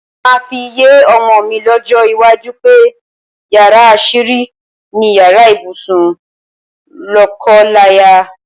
Màá fi yé o̩mo̩ mi ló̩jó̩ iwájú pé yàrá às̩írí ni yàrá ibùsùn ló̩ko̩láya.